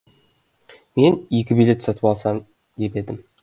мен екі билет сатып алсам деп ем